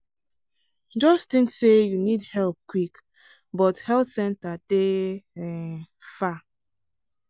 just think say you need help quick but health center dey um far.